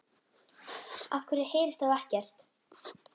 Af hverju heyrist þá ekkert?